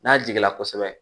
N'a jigila kosɛbɛ